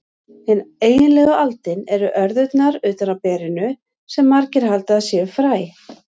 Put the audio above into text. Hin eiginlegu aldin eru örðurnar utan á berinu, sem margir halda að séu fræ.